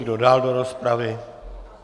Kdo dál do rozpravy?